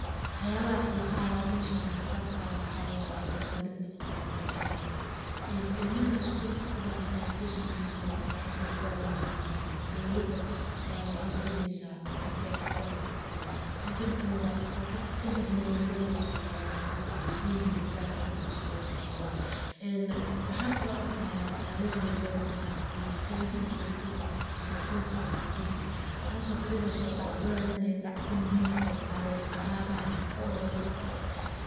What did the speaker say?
Waxyaabaha xiisah leh oo meshaan aan ku arkaayo waxa waye, horumarinta wax barashada. Een ilmaha iskullka ka basaan oo san haysanin lacag ay ku aadaan jamacad, dawladda ayaa waxey sineysaa lacag ay ku wax bartaan ,sidaas darteetda lacag seddex malyan gareyso ayaa qof la siiye inuu jamacad uu isaga bixiyo. Waxaan kaloo arkaya tariikhda jeega twenty seven mwezi wa two twenty seventeen taas oo ka dhigayso dhacdaan in dhacda muhim ay taho oo tarikh ahaan ah oo lagu qorte.